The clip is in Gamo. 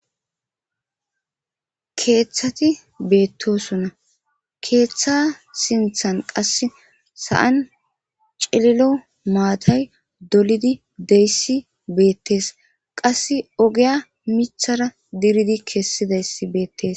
keeththati beettosona keeththa sinthan qass sa7an celilo maatay dolidi deyssi beettees qas ogeya mithara diridi kessidayss beettes